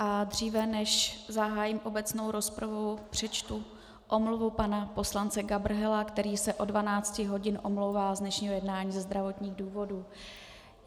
A dříve než zahájím obecnou rozpravu, přečtu omluvu pana poslance Gabrhela, který se od 12 hodin omlouvá z dnešního jednání ze zdravotních důvodů.